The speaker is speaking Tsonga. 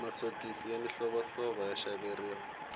masiokisi ya mihlovohlovo ya xaveriwa